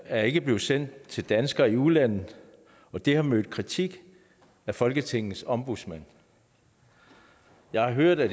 er ikke blevet sendt til danskere i udlandet og det har mødt kritik af folketingets ombudsmand jeg har hørt at